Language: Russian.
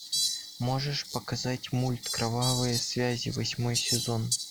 можешь показать мульт кровавые связи восьмой сезон